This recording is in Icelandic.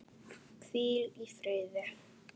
Hvíl í firði.